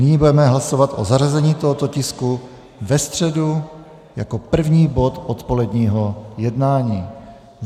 Nyní budeme hlasovat o zařazení tohoto tisku ve středu jako první bod odpoledního jednání.